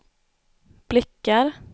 blickar